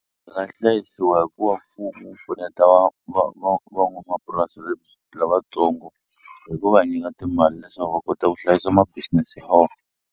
Byi nga hlayisiwa hi ku va mfumo wu pfuneta van'wamapurasi lavatsongo hi ku va nyika timali leswaku va kota ku hlayisa ma business ya .